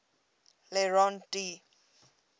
le rond d